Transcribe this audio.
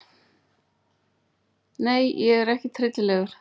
Nei ég er ekkert hryllilegur.